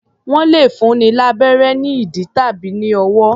Wọ́n lẹ̀ fúnni lábérẹ́ ní ìdí tàbí ní ọwọ́.